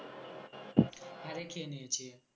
হ্যাঁ রে খেয়ে নিয়েছি।